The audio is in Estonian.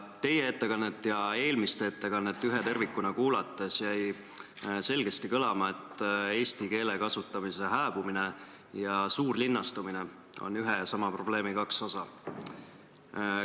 Teie ettekannet ja eelmist ettekannet ühe tervikuna kuulates jäi selgesti kõlama, et eesti keele kasutamise hääbumine ja suurlinnastumine on ühe ja sama probleemi kaks osa.